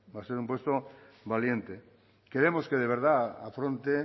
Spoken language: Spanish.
va a ser un presupuesto valiente queremos que de verdad afronte